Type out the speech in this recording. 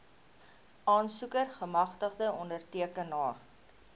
aansoeker gemagtigde ondertekenaar